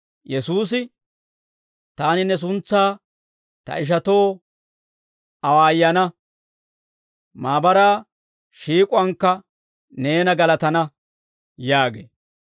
Yesuusi, «Taani ne suntsaa ta ishatoo awaayana. Maabaraa shiik'uwaankka neena galatana» yaagee.